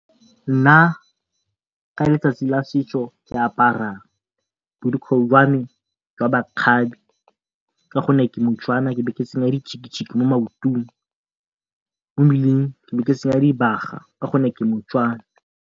Nna ka letsatsi la setso ke apara borokgwe jwame jwa makgabe gonne ke moTswana ebe ke tsenya mo maotong mo mmeleng ebe ke tsenya dibaga gonne ke moTswana.